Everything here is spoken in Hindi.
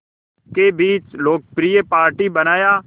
के बीच लोकप्रिय पार्टी बनाया